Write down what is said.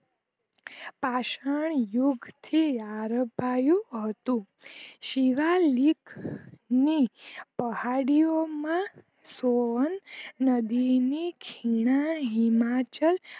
પાષાણ યુગ થી આરભાયુ હતું શિવાલિક ની પહાડિયો માં સોહન નદી ની ખિના હિમાચલ